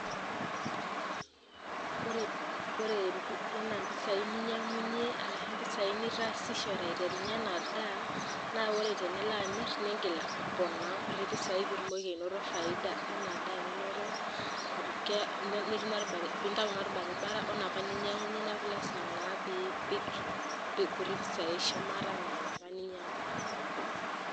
Ore ena impisai ninyiang'unyie arashu impisai nitaasishore aiterunyie ena ndaa, naa ore tenilo amirr niigil aponaa enkuti pisai piitumoki anoto faida ena daa ninoto neti nintayu inorbarbara wo napa ninyiang'unyie neaku lasima naa piipik enkuti pisai shumata Nena naa kajo ininyiang'unyie.